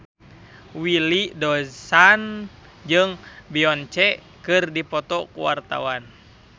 Willy Dozan jeung Beyonce keur dipoto ku wartawan